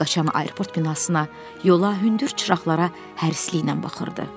O geri qaçan aeroport binasına, yola, hündür çıraqlara hərisliklə baxırdı.